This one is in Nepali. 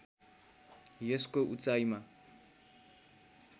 यसको उचाइमा